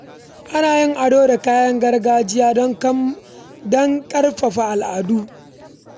Ana yin ado da kayan gargajiya don karrama bikin al’adu.